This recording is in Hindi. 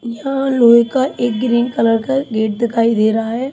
यह लोहे का एक ग्रीन कलर का गेट दिखाई दे रहा है।